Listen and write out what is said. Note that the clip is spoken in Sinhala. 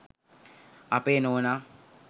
අපේ නෝනා